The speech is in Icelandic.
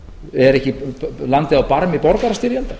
er ekki landið á barmi borgarastyrjaldar